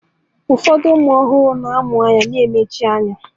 Ụfọdụ ụmụ ọhụrụ a mụrụ na-amụ anya na-emechi anya